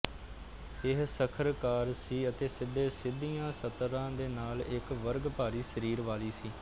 ਇਹ ਸੱਖਰਦਾਰ ਸੀ ਅਤੇ ਸਿੱਧੇ ਸਿੱਧੀਆਂ ਸਤਰਾਂ ਦੇ ਨਾਲ ਇਕ ਵਰਗ ਭਾਰੀ ਸਰੀਰ ਵਾਲੀ ਸੀ